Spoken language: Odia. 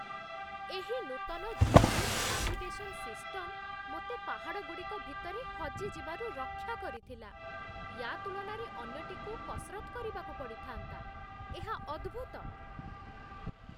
ଏହି ନୂତନ ଜି.ପି.ଏସ୍. ନାଭିଗେସନ୍ ସିଷ୍ଟମ୍ ମୋତେ ପାହାଡ଼ଗୁଡ଼ିକ ଭିତରେ ହଜି ଯିବାରୁ ରକ୍ଷା କରିଥିଲା, ୟା ତୁଳନାରେ ଅନ୍ୟଟିକୁ କସରତ୍ କରିବାକୁ ପଡ଼ିଥାନ୍ତା। ଏହା ଅଦ୍ଭୁତ!